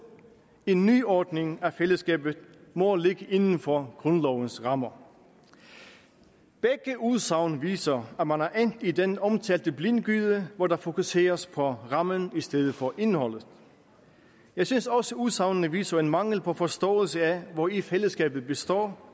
en nyordning af fællesskabet må ligge inden for grundlovens rammer begge udsagn viser at man er endt i den omtalte blindgyde hvor der fokuseres på rammen i stedet for på indholdet jeg synes også at udsagnene viser en mangel på forståelse af hvori fællesskabet består